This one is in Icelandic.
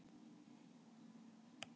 hvort eru hýenur skyldari hundum eða köttum